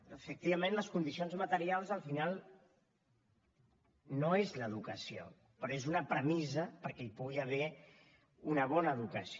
efectivament les condicions materials al final no és l’educació però és una premissa perquè hi pugui haver una bona educació